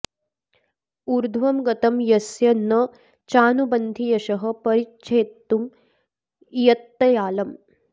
ऊर्ध्वं गतं यस्य न चानुबन्धि यशः परिच्छेत्तुं इयत्तयालं